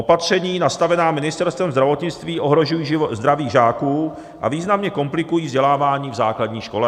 Opatření nastavená Ministerstvem zdravotnictví ohrožují zdraví žáků a významně komplikují vzdělávání v základní škole.